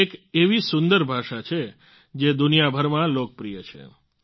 આ એક એવી સુંદર ભાષા છે જે દુનિયાભરમાં લોકપ્રિય છે